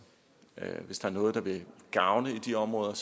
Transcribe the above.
hvis der er noget der vil gavne i de områder